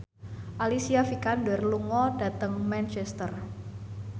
Alicia Vikander lunga dhateng Manchester